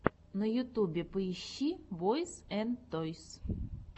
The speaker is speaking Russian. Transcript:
на ютубе поищи бойз энд тойс